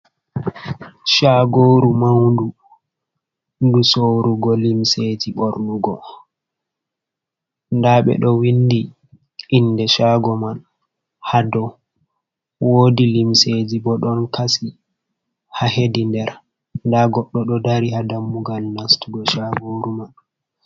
Shagoru maundu ndu sorugo limseji ɓornugo nda ɓeɗo windi inde shago man ha dou. Wodi limseji bo ɗon kasi ha hedi nder. Nda goɗɗo ɗo dari ha dammugal nastugo shagoru man.